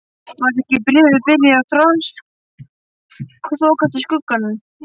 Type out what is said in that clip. Var ekki Bréfið byrjað að þokast í skuggann?